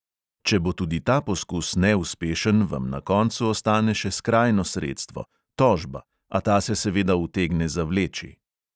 Če bo tudi ta poskus neuspešen, vam na koncu ostane še skrajno sredstvo – tožba, a ta se seveda utegne zavleči.